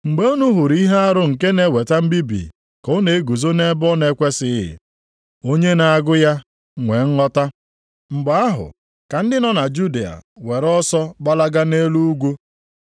“Mgbe unu hụrụ ihe arụ nke na-eweta mbibi ka ọ na-eguzo nʼebe ọ na-ekwesighị + 13:14 \+xt Dan 9:27; 11:31; 12:11\+xt* (onye na-agụ ya nwee nghọta), mgbe ahụ, ka ndị nọ na Judịa were ọsọ gbalaga nʼelu ugwu